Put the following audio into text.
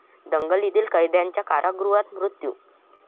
दंगलीतील कैद्याचा कारागृहात मृत्यू